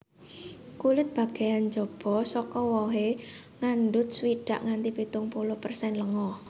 Kulit bagéyan njaba saka wohé ngandhut swidak nganti pitung puluh persen lenga